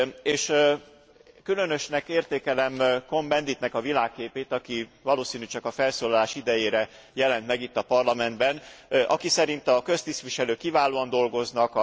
És különösnek értékelem Cohn Benditnek a világképét, aki valószínű csak a felszólalás idejére jelent meg itt a Parlamentben, aki szerint a köztisztviselők kiválóan dolgoznak.